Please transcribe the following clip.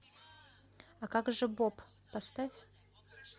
а как же боб поставь